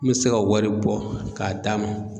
N mi se ka wari bɔ k'a d'a ma